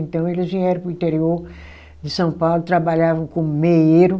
Então, eles vieram para o interior de São Paulo, trabalhavam como meeiro.